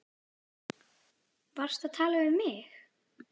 Varstu að tala við mig?